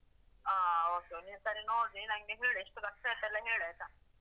ಹ, okay okay. ನೀನು ಸರಿ ನೋಡ್, ನೀನು ನಂಗೆ ಹೇಳು ಎಷ್ಟು ಖರ್ಚಾಯಿತೆಲ್ಲ ನಂಗೆ ಹೇಳು ಆಯ್ತಾ?